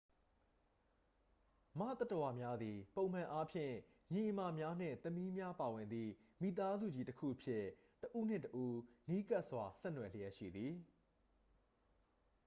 မသတ္တဝါများသည် ပုံမှန်အားဖြင့် ညီအစ်မများနှင့် သမီးများပါဝင်သည့် မိသားစုကြီးတစ်ခုအဖြစ် တစ်ဦးနှင့် တစ်ဦး နီးကပ်စွာ ဆက်နွယ်လျက်ရှိသည်